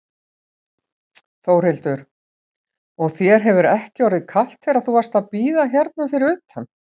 Þórhildur: Og þér hefur ekki orðið kalt þegar þú varst að bíða hérna fyrir utan?